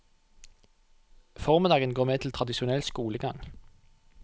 Formiddagen går med til tradisjonell skolegang.